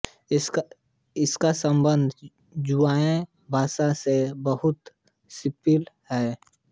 इसका सम्बन्ध जुआंग भाषा से बहुत समीपी है